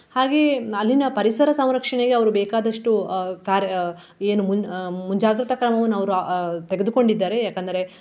ಹಾಗೆಯೇ ಅಲ್ಲಿನ ಪರಿಸರ ಸಂರಕ್ಷಣೆಗೆ ಅವರು ಬೇಕಾದಷ್ಟು ಆ ಕಾರ್~ ಏನ್ ಮುನ್~ ಆ ಮುಂಜಾಗ್ರತ ಕ್ರಮವನ್ನು ಅವರು ಆ ತೆಗೆದುಕೊಂಡಿದ್ದಾರೆ ಯಾಕಂದರೆ.